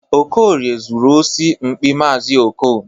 Okorie zuru osi mkpị maazi Okon.